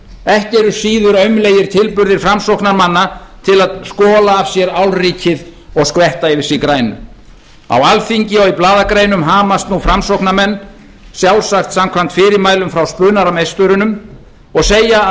ekki eru síður aumlegir tilburðir framsóknarmanna til að skola af sér álrykið og skvetta yfir sig grænu á alþingi og í blaðagreinum hamast nú framsóknarmenn sjálfsagt samkvæmt fyrirmælum frá spunameisturunum og segja að